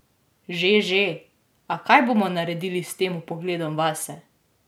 Že, že, a kaj bomo naredili s tem vpogledom vase?